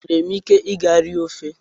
Enwere m ike ịga rie ofe?